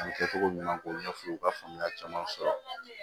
U kɛcogo ɲuman k'o ɲɛf'u ye u ka faamuya caman sɔrɔ